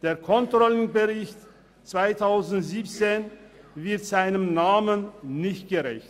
Der Controlling-Bericht 2017 wird seinem Namen nicht gerecht.